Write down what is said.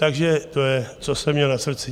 Takže to je, co jsem měl na srdci.